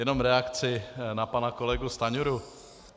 Jenom reakce na pana kolegu Stanjuru.